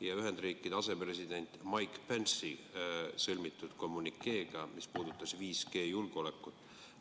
ja Ühendriikide asepresidendi Mike Pence'i sõlmitud kommünikeega, mis puudutas 5G julgeolekut.